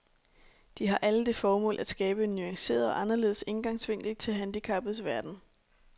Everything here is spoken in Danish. De har alle det formål at skabe en nuanceret og anderledes indgangsvinkel til handicappedes verden.